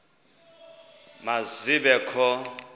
ma zibe kho